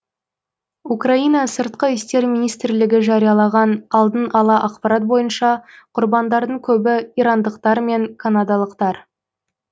украина сыртқы істер министрлігі жариялаған алдын ала ақпарат бойынша құрбандардың көбі ирандықтар мен канадалықтар